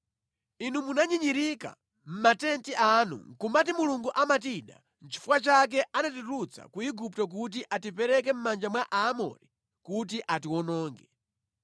Inu munanyinyirika mʼmatenti anu nʼkumati, “Mulungu amatida nʼchifukwa chake anatitulutsa ku Igupto kuti atipereke mʼmanja mwa Aamori kuti atiwononge.